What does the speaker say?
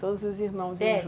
Todos os irmãos iam juntos? É.